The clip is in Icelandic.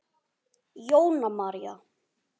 Jóna María.